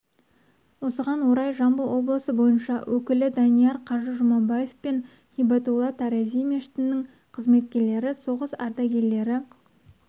осыған орай жамбыл облысы бойынша өкілі данияр қажы жұмабаев пен һибатулла тарази мешітінің қызметкерлері соғыс ардагерлері